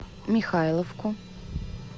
михайловку